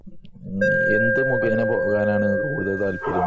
മ്മ്ഹ് എന്ത് മുഖേന പോകാനാണ് കൂടുതൽ താല്പര്യം